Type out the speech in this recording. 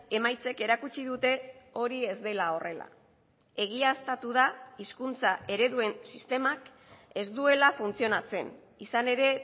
emaitzek erakutsi dute hori ez dela horrela egiaztatu da hizkuntza ereduen sistemak ez duela funtzionatzen izan ere